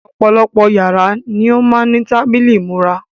Ọ̀pọ̀lọpọ̀ yàrá ni ó má ń ní tábìlì ìmúra.